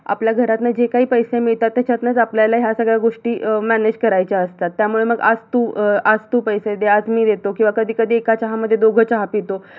आपल्या घरातन जे काही पैसे मिळतात त्याच्यातंच आपल्याला या सगळ्या गोष्टी अं manage करायच्या असतात त्यामुळे मग आज तू अं आज तू पैसे दे आज मी देतो किवा कधीकधी एका चहा मध्ये दोघ चहा पितो.